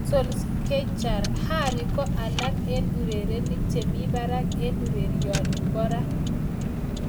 Solskjaer: Harry ko alak en urerenik che mi barak en urerioni bo ra.